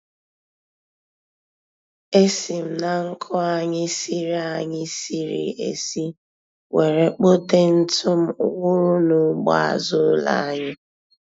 E si m na nkụ anyị siri anyị siri esi were kpote ntụ m wụrụ n'ugbo azụ ụlọ anyị.